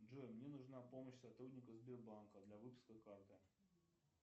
джой мне нужна помощь сотрудника сбербанка для выпуска карты